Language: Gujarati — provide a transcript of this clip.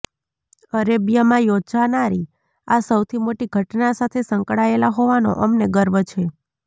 અરેબિયામાં યોજાનારી આ સૌથી મોટી ઘટના સાથે સંકળાયેલા હોવાનો અમને ગર્વ છે